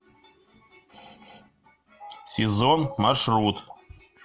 сезон маршрут